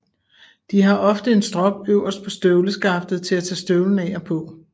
De har ofte en strop øverst på støvleskaftet til at tage støvlen af og på